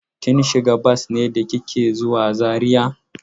Kin shiga bas ne da kike zuwa Zariya?